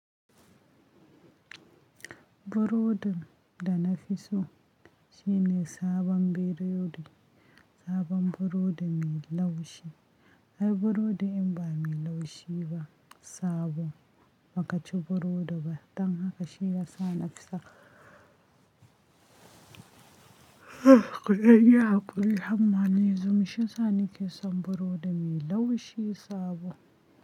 Burodin da na fi so shine sabon birodi, sabon burodi mai laushi. Ai burodi in ba mai laushi ba sabo, baka ci burodi ba. Dan haka shi ya sa na fi saka. Kuɗai yaku yayi hammani, zum shi sa ni ke son burodi mai laushi sabo.